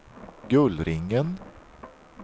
Gullringen